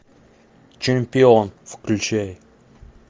чемпион включай